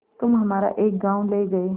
तुम हमारा एक गॉँव ले गये